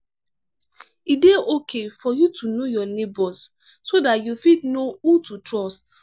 e dey okay for you to know your neigbours so dat you fit know who to trust